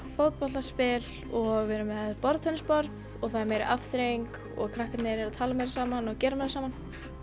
fótboltaspil og við erum með borðtennisborð og það er meiri afþreying og krakkarnir eru að tala meira saman og gera meira saman